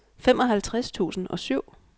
femoghalvtreds tusind og syv